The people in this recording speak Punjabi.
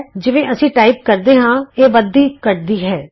ਜਿਵੇਂ ਅਸੀਂ ਟਾਈਪ ਕਰਦੇ ਹਾਂ ਇਹ ਵੱਧਦੀ ਘੱਟਦੀ ਹੈ